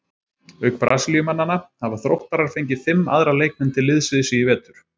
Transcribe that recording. Auk Brasilíumannanna hafa Þróttarar fengið fimm aðra leikmenn til liðs við sig í vetur.